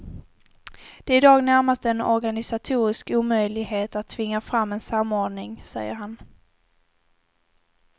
Det är i dag närmast en organisatorisk omöjlighet att tvinga fram en samordning, säger han.